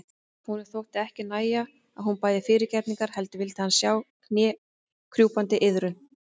Honum þótti ekki nægja að hún bæði fyrirgefningar heldur vildi hann sjá knékrjúpandi iðrun.